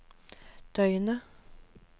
døgnet